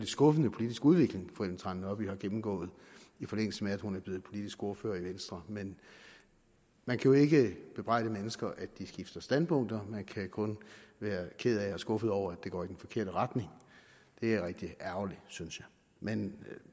skuffende politisk udvikling fru ellen trane nørby har gennemgået i forlængelse af at hun er blevet politisk ordfører i venstre men man kan jo ikke bebrejde mennesker at de skifter standpunkt man kan kun være ked af og skuffet over at det går i den forkerte retning det er rigtig ærgerligt synes jeg men